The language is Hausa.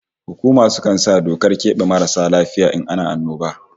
Hukuma sukan sa dokar kebe marasu lafiya in ana annoba